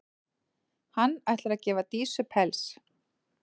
Hann ætlar að gefa Dísu pels.